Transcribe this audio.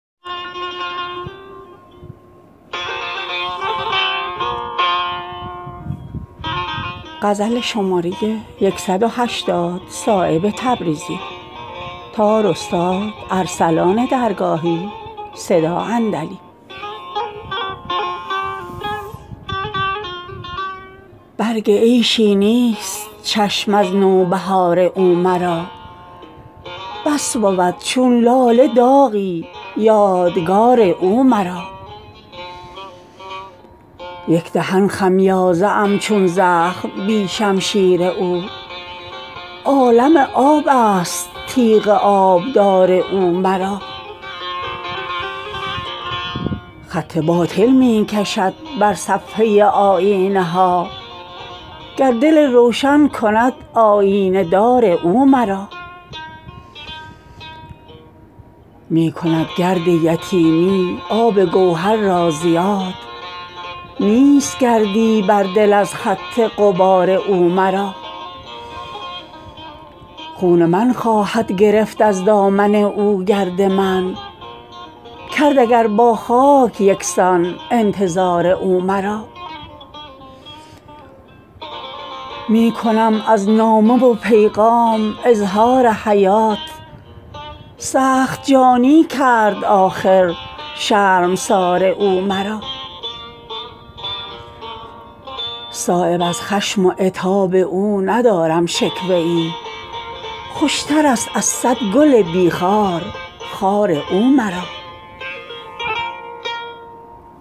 برگ عیشی نیست چشم از نوبهار او مرا بس بود چون لاله داغی یادگار او مرا یک دهن خمیازه ام چون زخم بی شمشیر او عالم آب است تیغ آبدار او مرا خط باطل می کشد بر صفحه آیینه ها گر دل روشن کند آیینه دار او مرا می کند گرد یتیمی آب گوهر را زیاد نیست گردی بر دل از خط غبار او مرا خون من خواهد گرفت از دامن او گرد من کرد اگر با خاک یکسان انتظار او مرا می کنم از نامه و پیغام اظهار حیات سخت جانی کرد آخر شرمسار او مرا صایب از خشم و عتاب او ندارم شکوه ای خوشترست از صد گل بی خار خار او مرا